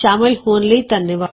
ਸ਼ਾਮਲ ਹੋਣ ਲਈ ਧੰਨਵਾਦ